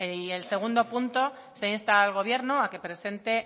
y el segundo punto se insta al gobierno a que presente